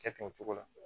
Cɛ tun cogo la